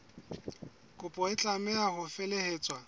kopo e tlameha ho felehetswa